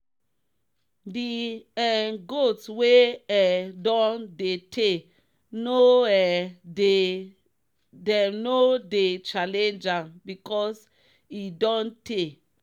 the um goat wey um don dey tey no um dey them no dey challenge am because e don tey.'